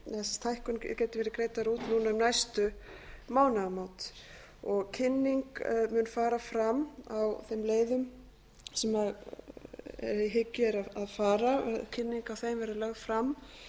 verið greiddar hækkunin geti verið greidd út núna um næstu mánaðamót kynning mun fara fram á þeim leiðum sem í hyggju er að fara kynning á þeim verður lögð fram